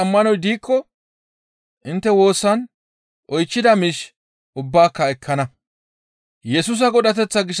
Inttes ammanoy diikko intte woosan oychchida miish ubbaaka ekkana.